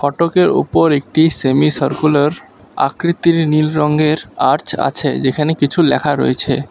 ফটোকের উপর একটি semi circular আকৃতির নীল রঙ্গের আর্চ আছে যেখানে কিছু লেখা রয়েছে।